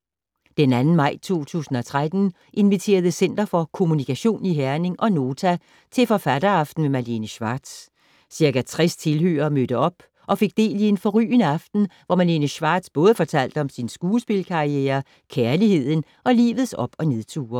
Den 2. maj 2013 inviterede Center for kommunikation i Herning og Nota til forfatteraften med Malene Schwartz. Ca. 60 tilhørere mødte op og fik del i en forrygende aften, hvor Malene Schwartz både fortalte om sin skuespilkarriere, kærligheden og livets op- og nedture.